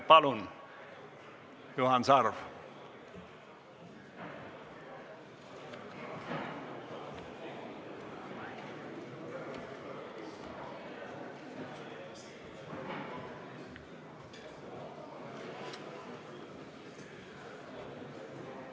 Palun, Juhan Sarv!